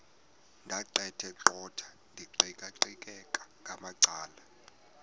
ndaqetheqotha ndiqikaqikeka ngamacala